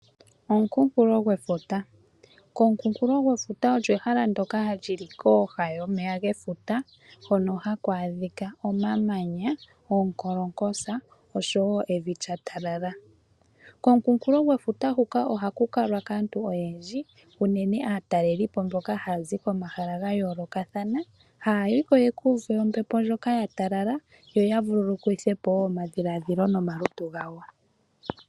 Omukunkulo gwefuta Omukunkulo gwefuta olyo efala ndyoka li li kooha dhefuta hono haku adhika omamanya, oonkankolotsa noshowo evi lya talala. Komukunkulo gwefuta huka ohaku kalwa kaantu oyendji unene aatalelipo mboka haya zi komahala ga yoolokathana, haya yi ko ya ka uve ombepo ndjoka ya talala yo ya vululukithe omadhiladhilo nomalutu gawo.